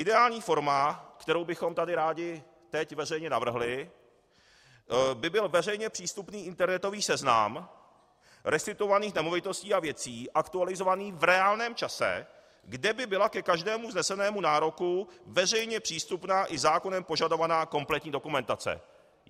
Ideální forma, kterou bychom tady rádi teď veřejně navrhli, by byl veřejně přístupný internetový seznam restituovaných nemovitostí a věcí, aktualizovaný v reálném čase, kde by byla ke každému vznesenému nároku veřejně přístupná i zákonem požadovaná kompletní dokumentace.